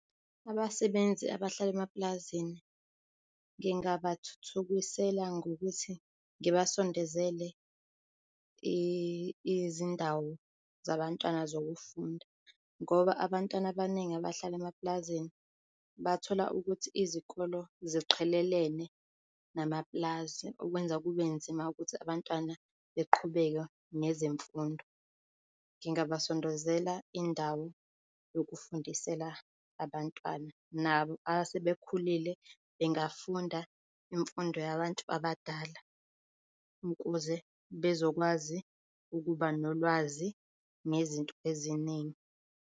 Abasebenzi abahlala emapulazini ngingabathuthukisela ngokuthi ngibasondezele izindawo zabantwana zokufunda ngoba abantwana abaningi abahlala emapulazini bathola ukuthi izikolo ziqhelelene namapulazi, okwenza kube nzima ukuthi abantwana beqhubeke nezemfundo. Ngingabasondezela indawo yokufundisela abantwana nabo asebekhulile bengafunda imfundo yabantu abadala ukuze bezokwazi ukuba nolwazi ngezinto eziningi.